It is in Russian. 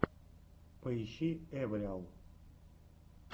поищи эвриал